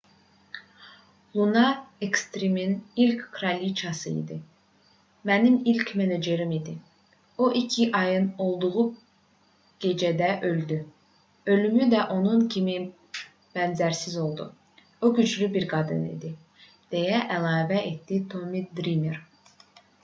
luna ekstrimin ilk kraliçası idi mənim ilk menecerim idi o iki ayın olduğu gecədə öldü ölümü də onun kimi bənzərsiz oldu o güclü bir qadın idi deyə əlavə etdi tommi drimer